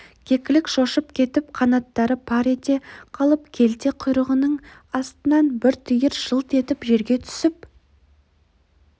кекілік шошып кетіп қанаттары пар ете қалып келте құйрығының астынан бір түйір жылт етіп жерге түсіп